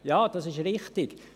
Ja, das ist richtig.